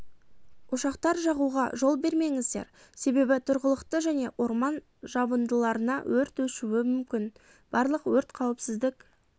ошақтар жағуға жол бермеңіздер себебі тұрғылықты және орман жабындыларына өрт өшуі мүмкін барлық өрт қауіпсіздік